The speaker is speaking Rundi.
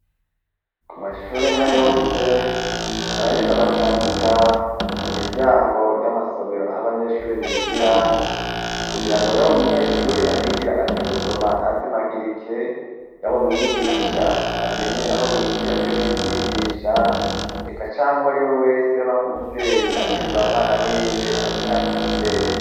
Ku mashure nka yose, baraheze abakandika ku miryango y'amasomero aho abanyeshuri bigira, kugira ngo yabo umunyeshuri ahigira azi gusoma ntazimagirike, yabo mwigisha amenye aho yinjira iyoagiye kwigisha, eka canke uwe ari we wese yabank'umuvyeyi aje kureba mwana wiwe amenyatumbera.